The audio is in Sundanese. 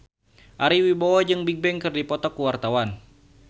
Ari Wibowo jeung Bigbang keur dipoto ku wartawan